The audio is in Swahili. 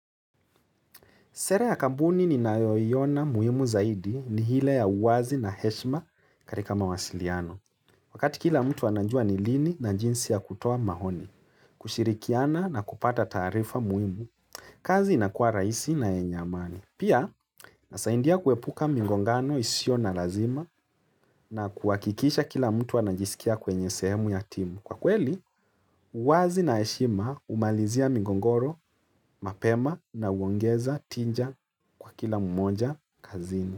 Sera ya kampuni ninayoiona muhimu zaidi ni ile ya uwazi na heshima katika mawasiliano. Wakati kila mtu anajua ni lini na jinsi ya kutoa maoni, kushirikiana na kupata taarifa muhimu, kazi inakuwa rahisi na yenye amani. Pia, inasaidia kuepuka migongano isiyo na lazima na kuhakikisha kila mtu anajisikia kwenye sehemu ya timu. Kwa kweli, uwazi na heshima humalizia migogoro mapema na huongeza tija kwa kila mmoja kazini.